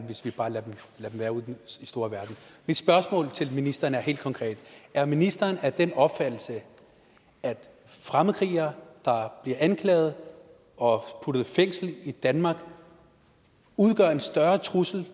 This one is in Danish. hvis vi bare lader dem være ude i den store verden mit spørgsmål til ministeren er helt konkret er ministeren af den opfattelse at fremmedkrigere der bliver anklaget og puttet i fængsel i danmark udgør en større trussel